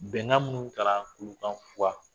Bɛnkan minnu tara kurukanfuga